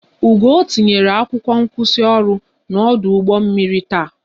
Ugoo tinyere akwụkwọ nkwụsịoru n'ọdụ ụgbọ mmiri taa